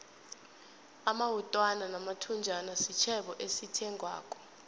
amawutwana namathunjana sitjhebo esithengwako